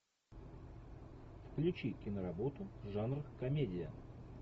включи киноработу жанр комедия